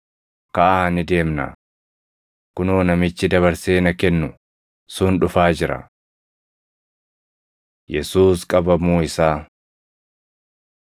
Kaʼaa ni deemnaa! Kunoo, namichi dabarsee na kennu sun dhufaa jira.” Yesuus Qabamuu Isaa 26:47‑56 kwf – Mar 14:43‑50; Luq 22:47‑53